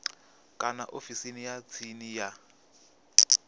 kana ofisini ya tsini ya